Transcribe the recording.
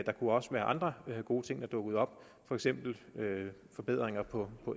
der kunne også være andre gode ting der dukkede op for eksempel forbedringer på